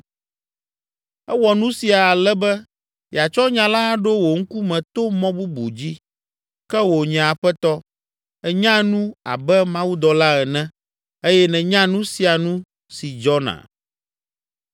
Ewɔ nu sia, ale be yeatsɔ nya la aɖo wò ŋkume to mɔ bubu dzi. Ke wò nye aƒetɔ, ènyaa nu abe mawudɔla ene eye nènya nu sia nu si dzɔna!”